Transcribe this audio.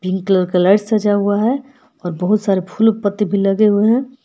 Pink colour का light सजा हुआ है और बहुत सारे फूल पत्ते भी लगे हुए हैं।